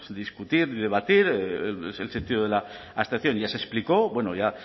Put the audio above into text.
discutir ni debatir el sentido de la abstención ya se explicó bueno ya